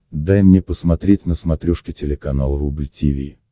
дай мне посмотреть на смотрешке телеканал рубль ти ви